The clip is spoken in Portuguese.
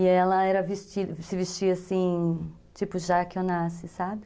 E ela era se vestia assim, tipo, Jaque, sabe?